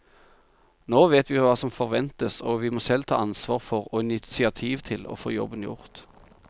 Nå vet vi hva som forventes, og vi må selv ta ansvar for og initiativ til å få jobben gjort.